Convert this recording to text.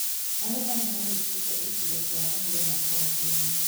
Magetha nĩmarĩkĩte icigo cia mũhuro na kauntĩ-inĩ